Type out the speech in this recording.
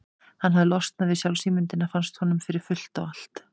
Hann hafði losnað við sjálfsímyndina, fannst honum, fyrir fullt og allt.